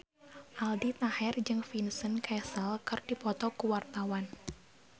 Aldi Taher jeung Vincent Cassel keur dipoto ku wartawan